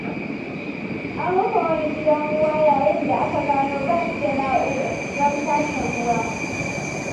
An rufe wani gidan ruwa yayin da aka gano ba su da na'urar tace ruwa.